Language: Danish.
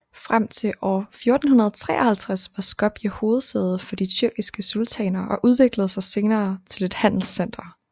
Frem til år 1453 var Skopje hovedsæde for de tyrkiske sultaner og udviklede sig senere til et handelscenter